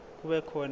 kube khona ikhophi